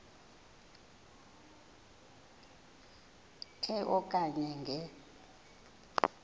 e okanye nge